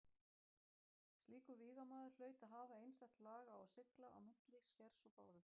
Slíkur vígamaður hlaut að hafa einstakt lag á að sigla á milli skers og báru.